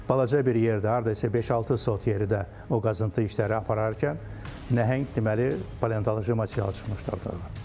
Balaca bir yerdə, hardasa beş-altı sot yerdə o qazıntı işləri apararkən nəhəng deməli paleontoloji material çıxmışdı orda.